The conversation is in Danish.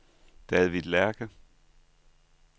David Lerche